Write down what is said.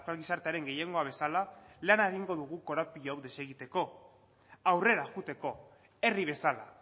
gizartearen gehiengoa bezala lana egingo dugu korapilo hau desegiteko aurrera joateko herri bezala